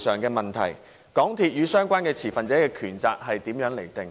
港鐵與相關持份者的權責是如何釐定的？